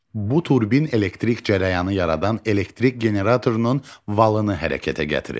Bu turbin elektrik cərəyanı yaradan elektrik generatorunun valını hərəkətə gətirir.